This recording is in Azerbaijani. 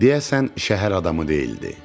Deyəsən şəhər adamı deyildi.